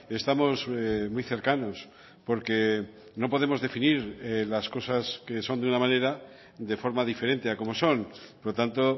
estamos muy cercanos porque no podemos definir las cosas que son de una manera de forma diferente a cómo son por lo tanto